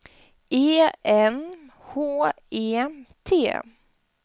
E N H E T